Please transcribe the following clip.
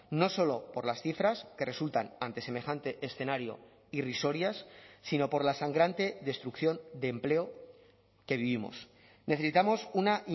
no solo por las cifras que resultan ante semejante escenario irrisorias sino por la sangrante destrucción de empleo que vivimos necesitamos una